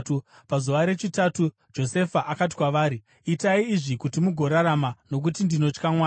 Pazuva rechitatu, Josefa akati kwavari, “Itai izvi kuti mugorarama, nokuti ndinotya Mwari.